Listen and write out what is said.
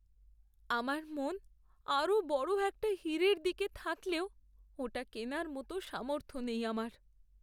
আমার মন আরও বড় একটা হীরের দিকে থাকলেও ওটা কেনার মতো সামর্থ্য নেই আমার।